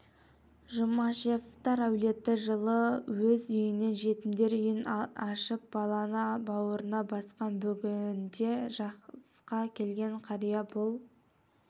жұмашевтар әулеті жылы өз үйінен жетімдер үйін ашып баланы бауырына басқан бүгінде жасқа келген қария бұл